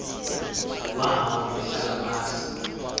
wahamba ehlala phantsi